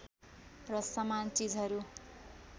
र समान चिजहरू